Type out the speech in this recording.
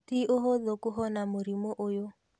Ti ũhũthũ kũhona mũrimũ ũyũ.